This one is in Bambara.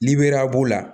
Liberiya b'o la